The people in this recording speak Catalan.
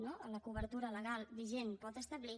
no a la cobertura legal vigent pot establir